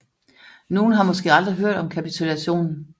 Nogle har måske aldrig hørt om kapitulationen